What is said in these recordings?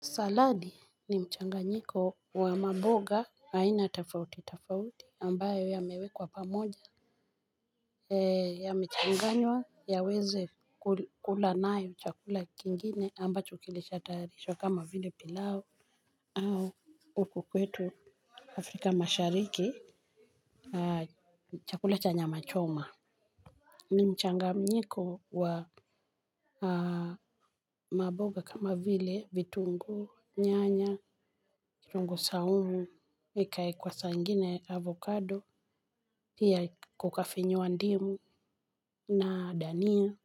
Saladi ni mchanganyiko wa mamboga haina tofautitofauti ambayo yamewekwa pamoja. Yamechanganywa yaweze kula nayo chakula kingine ambacho kilishatayarishwa kama vile pilau. Au huku kwetu Afrika mashariki. Chakula cha nyama choma ni mchanga nyiko wa mamboga kama vile vitungu nyanya kitungu saumu, ikae kwa saa ingine avokado, pia kukafinywa ndimu na dania.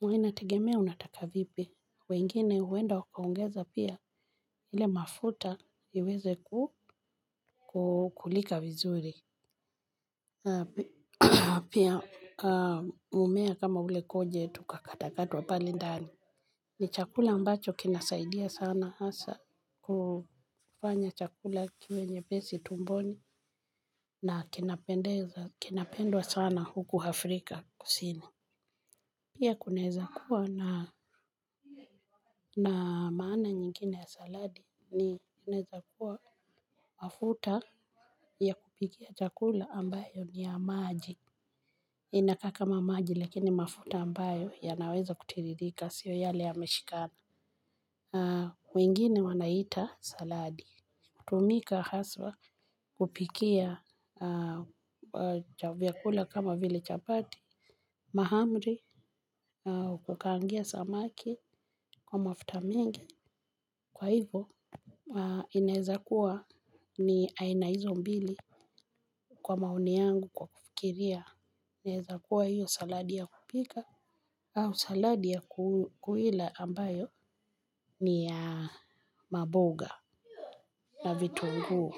Huwa inategemea unataka vipi. Wengine huenda wakaongeza pia ile mafuta iweze kukulika vizuri. Pia mmea kama gojet ukakatwa katwa pale ndani. Ni chakula mbacho kinasaidia sana hasa kufanya chakula kiwenyepesi tumboni. Na kinapendwa sana huku Afrika kusini. Pia kuneweza kuwa na maana nyingine ya saladi. Ni inaweza kuwa mafuta ya kupikia chakula ambayo ni ya maji. Inakaa kama maji lakini mafuta ambayo yanaweza kutiririka sio yale yameshikana wengine wanaiita saladi hutumika haswa kupikia vyakula kama vile chapati mahamri na kukaangia samaki kwa mafuta mengi kwa hivyo inaweza kuwa ni aina hizo mbili kwa maoni yangu kwa kufikiria inaweza kuwa hiyo saladi ya kupika. Au saladi ya kuila ambayo ni ya maboga na vitungu.